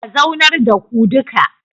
A zaunar da ku duka